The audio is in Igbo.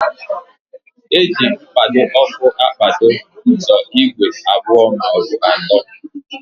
Eji mkpado ọkụ akpado ụdọ igwe abụọ maọbụ atọ.